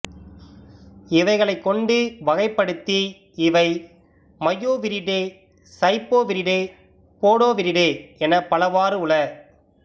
இவைகளைக் கொண்டு வகைப்படுத்தி இவை மயொவிரிடே சைப்போவிரிடே போடோவிரிடே எனப்பலவாறு உள